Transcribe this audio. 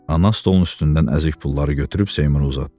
Ana stolun üstündən əzik pulları götürüb Seymura uzatdı.